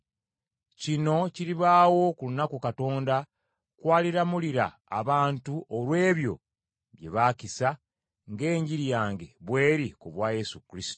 Kino kiribaawo ku lunaku Katonda kw’aliramulira abantu olw’ebyo bye baakisa, ng’enjiri yange bw’eri ku bwa Yesu Kristo.